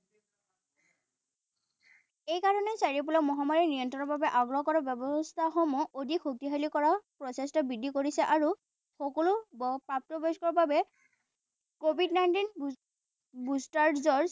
এই কাৰণে চাৰিওফালে মহামাৰী নিয়ন্ত্ৰণৰ বাবে আগ্ৰহ কৰা ব্যৱস্থাসমূহ অধিক শক্তিশালী কৰাৰ প্ৰচেষ্টা বৃদ্ধি কৰিছে আৰু সকলো প্ৰাপ্তবয়স্কৰ বাবে covid nineteen